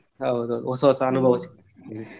ಹೌದು ಹೊಸ ಹೊಸ ಅನುಭವ ಸಿಗ್ತದೆ.